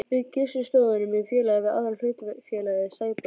Við Gissur stofnuðum í félagi við aðra hlutafélagið Sæborg.